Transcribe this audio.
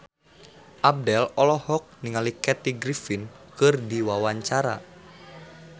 Abdel olohok ningali Kathy Griffin keur diwawancara